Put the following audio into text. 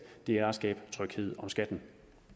det er at skabe tryghed om skatten